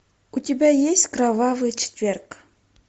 у тебя есть кровавый четверг